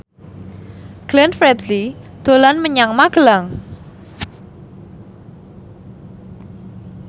Glenn Fredly dolan menyang Magelang